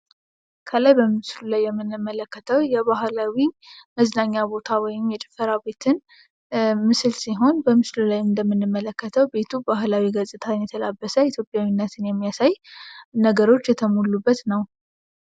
ከላይ በምስሉ ላይ የምንመለከተው የባህላዊ መዝናኛ ቦታ ወይም የጭፈራ ቦታ ወይም የጭፈራ ቤትን ምስል ሲሆን በምስሉ ላይ ሁሌም እንደምንመለከተው ባህላዊ ገጽታን የተላበሰ ኢትዮጵያዊነትን የሚያሳይ ነገሮች የተሞሉበት ነው።